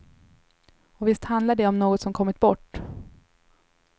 Och visst handlar det om något som kommit bort.